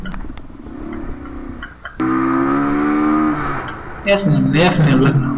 s name લખજો